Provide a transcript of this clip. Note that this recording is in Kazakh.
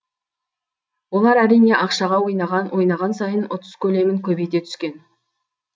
олар әрине ақшаға ойнаған ойнаған сайын ұтыс көлемін көбейте түскен